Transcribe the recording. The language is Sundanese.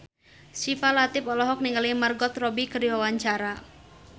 Syifa Latief olohok ningali Margot Robbie keur diwawancara